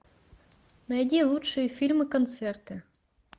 найди лучшие фильмы концерты